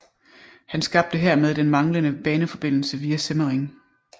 Han skabte hermed den manglende baneforbindelse via Semmering